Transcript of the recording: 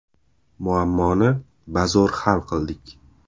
Muammoni bazo‘r hal qildik”.